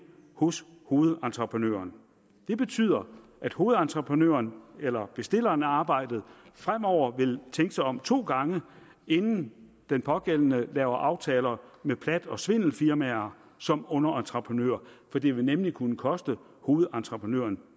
hos hovedentreprenøren det betyder at hovedentreprenøren eller bestilleren af arbejdet fremover vil tænke sig om to gange inden den pågældende laver aftaler med plat og svindelfirmaer som underentreprenører for det vil nemlig kunne koste hovedentreprenøren